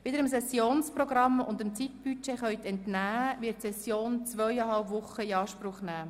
Wie Sie dem Sessionsprogramm und dem Zeitbudget entnehmen konnten, wird die Session zweieinhalb Wochen in Anspruch nehmen.